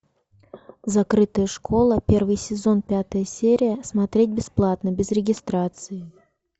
закрытая школа первый сезон пятая серия смотреть бесплатно без регистрации